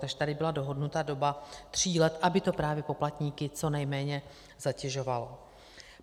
Takže tady byla dohodnuta doba tří let, aby to právě poplatníky co nejméně zatěžovalo.